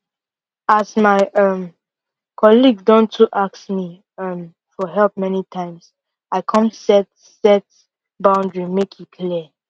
as my um colleague don too ask me um for help many times i come set set boundary make e clear